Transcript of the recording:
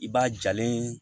I b'a jalen